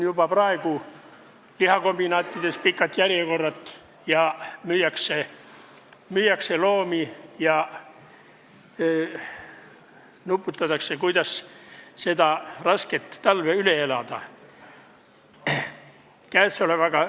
Juba praegu müüakse loomi ja lihakombinaatides on pikad järjekorrad, üldse nuputatakse, kuidas see raske talv üle elada.